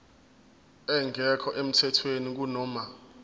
engekho emthethweni kunoma